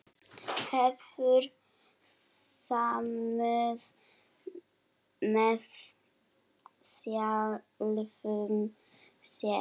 Hefur samúð með sjálfum sér.